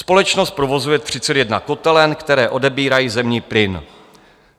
Společnost provozuje 31 kotelen, které odebírají zemní plyn.